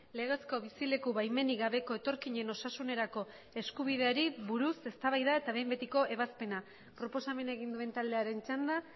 legezko bizileku baimenik gabeko etorkinen osasunerako eskubideari buruz eztabaida eta behin betiko ebazpena proposamena egin duen taldearen txanda